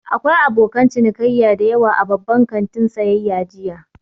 Akwai abokan cinikayya da yawa a babban kantin sayayya jiya.